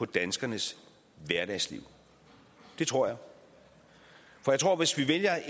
danskernes hverdagsliv det tror jeg for jeg tror at hvis vi vælger